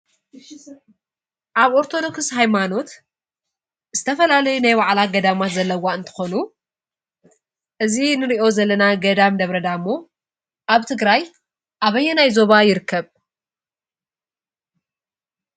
አብ ኦርቶዶክስ ሃይማኖት ዝተፈላለዩ ናይ ባዕላ ገዳማት ዘለዋ እንትኮኑ እዚ ንሪኦ ዘለና ገዳም ደብረ ዳሞ አብ ትግራይ አበየናይ ዞባ ይርከብ?